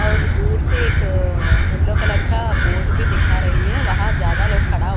और दूर से एक अ येल्लो कलर का बोर्ड भी दिखा रही है वहां ज्यादा लोग खड़ा --